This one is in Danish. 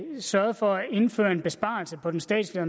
sørgede for at indføre en besparelse på den statslige